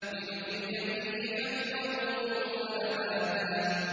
لِّنُخْرِجَ بِهِ حَبًّا وَنَبَاتًا